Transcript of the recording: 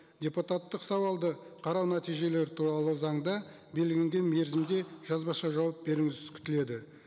депутаттық сауалды қарау нәтижелері туралы заңда белгіленген мерзімде жазбаша жауап беруіңіз күтіледі